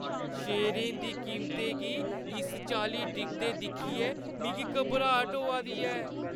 शेयरें दी कीमतें गी इस चाल्ली डिगदे दिक्खियै मिगी घबराट होआ दी ऐ।